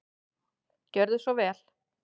Gjörðu svo vel.